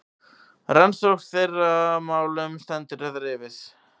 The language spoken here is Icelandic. Rannsókn á þeirra málum stendur yfir.